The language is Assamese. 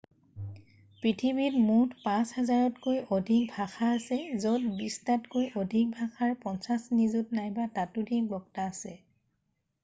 পৃথিৱীত মুঠ 5,000তকৈ অধিক ভাষা আছে য'ত বিশটাতকৈ অধিক ভাষাৰ 50 নিযুত নাইবা ততোধিক বক্তা আছে